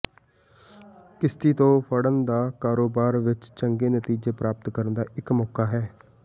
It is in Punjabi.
ਕਿਸ਼ਤੀ ਤੋਂ ਫੜਨ ਦਾ ਕਾਰੋਬਾਰ ਵਿਚ ਚੰਗੇ ਨਤੀਜੇ ਪ੍ਰਾਪਤ ਕਰਨ ਦਾ ਇਕ ਮੌਕਾ ਹੈ